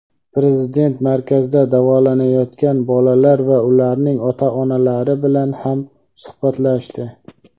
Prezident markazda davolanayotgan bolalar va ularning ota-onalari bilan ham suhbatlashdi.